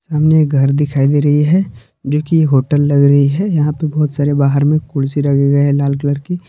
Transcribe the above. सामने ये घर दिखाई दे रही है जोकि होटल लग रही है यहां पे बहुत सारे बाहर में कुर्सी लगे हुए है लाल कलर की।